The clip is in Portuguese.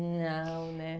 Não, né?